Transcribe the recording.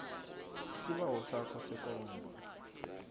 isibawo sakho sekomba